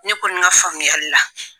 Ne kɔni ka faamuyali la